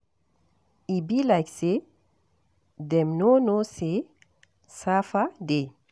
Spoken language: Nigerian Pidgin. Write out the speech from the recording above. E be like say dem no know say sapa dey